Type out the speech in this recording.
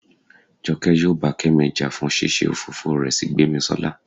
jọke yóò bá kemí ja fún ṣíṣe òfófó rẹ sí gbemisola